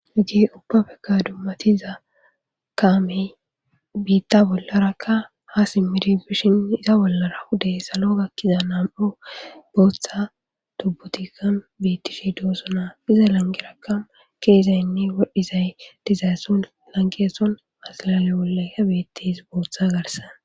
Hajge ubba pekka dummatiza kaamey biitta bollarakka ha simmiri bishin iza bollara huday salo gakkiza nam'o booththa tubbutikka biittish doosona iza langerakam keezaynne wodhizay dizaysson langeeson azalale bollayka biittis booththa garsan.